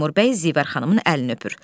Teymur bəy Zivər xanımın əlini öpür.